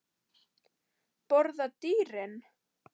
Borða dýrin?